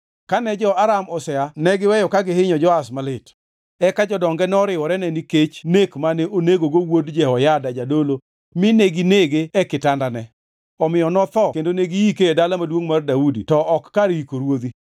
Kane jo-Aram osea ne giweyo ka gihinyo Joash malit. Eka jodonge noriworene nikech nek mane onegogo wuod Jehoyada jadolo mi neginege e kitandane. Omiyo notho kendo ne giike e Dala Maduongʼ mar Daudi to ok kar yiko ruodhi.